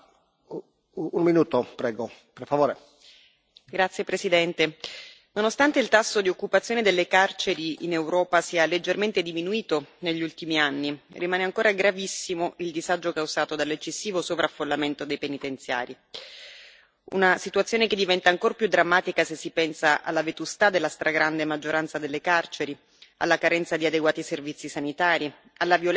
Signor Presidente, onorevoli colleghi, nonostante il tasso di occupazione delle carceri in Europa sia leggermente diminuito negli ultimi anni, rimane ancora gravissimo il disagio causato dall'eccessivo sovraffollamento dei penitenziari. Una situazione che diventa ancor più drammatica se si pensa alla vetustà della stragrande maggioranza delle carceri, alla carenza di adeguati servizi sanitari, alla violenza che spesso